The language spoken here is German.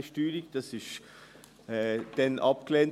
Das wurde damals abgelehnt.